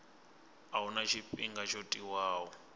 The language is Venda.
a huna tshifhinga tsho tiwaho